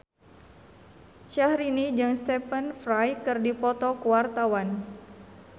Syahrini jeung Stephen Fry keur dipoto ku wartawan